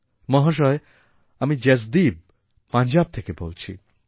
মহাশয় আমি জসদীপ পঞ্জাব থেকে বলছি